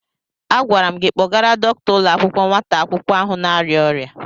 Agwara m gị kpọgara dọkịta ụlọ akwụkwọ nwata akwụkwọ ahụ na-arịa ọrịa.